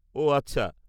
-ওহ, আচ্ছা।